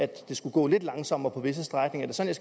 det skulle gå lidt langsommere på visse stræk er det sådan